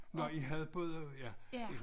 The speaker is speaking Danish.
Nå havde både ja